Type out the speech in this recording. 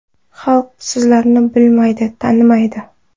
Xalq sizlarni bilmaydi, tanimaydi.